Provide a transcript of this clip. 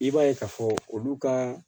I b'a ye k'a fɔ olu ka